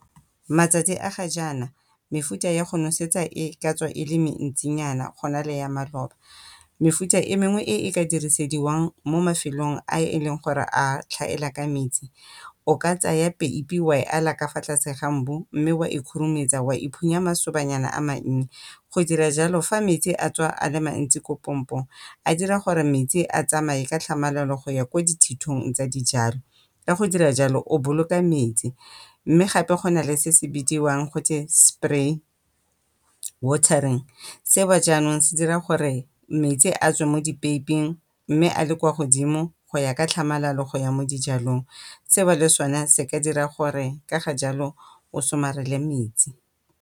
Matsatsi a ga jaana mefuta ya go nosetsa e ka tswa e le mentsinyana go na le ya maloba, mefuta e mengwe e e ka dirisediwang mo mafelong a e leng gore a tlhaela ka metsi o ka tsaya peipi wa e ala ka fa tlase ga mbu mme wa e khurumetsa wa e phunya masobanyana a mannye. Go dira jalo fa metsi a tswa a le mantsi ko pompong a dira gore metsi a tsamaye ka tlhamalalo go ya ko dithitong tsa dijalo. Ka go dira jalo o boloka metsi mme gape go nale se se bidiwang gote spray watering seo jaanong se dira gore metsi a tswe mo dipeiping mme a le ko godimo ka tlhamalalo go ya mo dijalong. Seo le sone se ka dira gore ka ga jalo o somarele metsi.